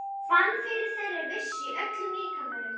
Fann fyrir þeirri vissu í öllum líkamanum.